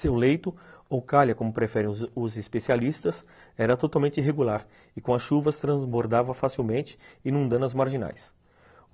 Seu leito, ou calha como preferem os o especialistas, era totalmente irregular e com as chuvas transbordava facilmente, inundando as marginais.